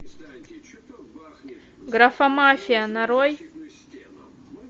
графомафия нарой